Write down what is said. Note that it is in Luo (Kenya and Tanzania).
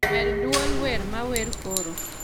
med duol wer mawer koro